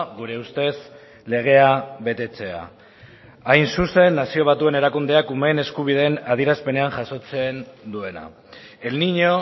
gure ustez legea betetzea hain zuzen nazio batuen erakundeak umeen eskubideen adierazpenean jasotzen duena el niño